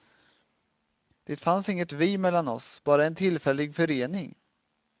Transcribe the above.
Det fanns inget vi mellan oss, bara en tillfällig förening.